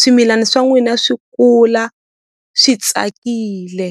swimilani swa n'wina swi kula swi tsakile.